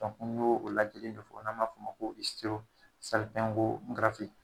ni y'o lajɛlen don n'an b'a f'o ma f' ma ko